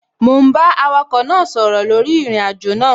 Mò ún bá awakọ̀ náà sọ̀rọ̀ lórí ìrìnàjò náà